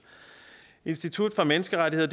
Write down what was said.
institut for menneskerettigheder